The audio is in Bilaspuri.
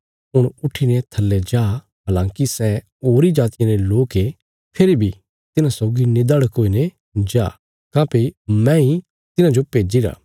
हुण उट्ठीने थल्ले जा हलाँकि सै होरीं जातियां रे लोक ये फेरी भीं तिन्हां सौगी निधड़क हुईने जा काँह्भई मैंई तिन्हांजो भेजीरा